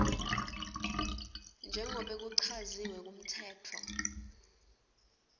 njengobe kuchaziwe kumtsetfo